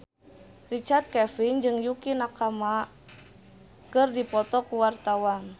Richard Kevin jeung Yukie Nakama keur dipoto ku wartawan